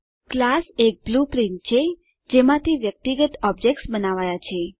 class એક blueprint છે જેમાંથી વ્યક્તિગત ઓબ્જેક્ત્સ બનાવાયા છે